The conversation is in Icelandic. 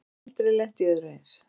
Aldrei lent í öðru eins